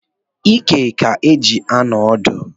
Ike ka e ji anọ odu